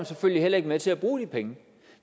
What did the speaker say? selvfølgelig heller ikke med til at bruge de penge